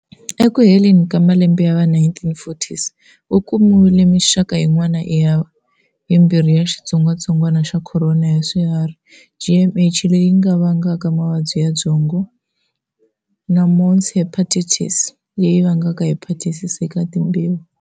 Eku heleni ka malembe ya va 1940s, ku kumiwile mixaka yin'wana yimbirhi ya xitsongatsongwana xa khorona ya swiharhi, JHM leyi vangaka mavabyi ya byongo na mouse hepatitis virus leyi vangaka hepatitis eka timbeva.